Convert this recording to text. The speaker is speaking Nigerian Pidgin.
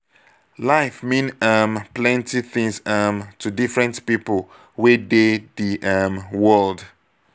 life mean um plenty things um to different pipo wey dey di um world